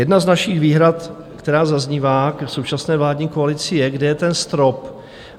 Jedna z našich výhrad, která zaznívá k současné vládní koalici, je, kde je ten strop?